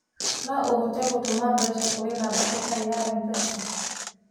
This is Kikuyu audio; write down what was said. No hote gũtũma mbeca kũrĩ namba ĩtarĩ ya Mpesa?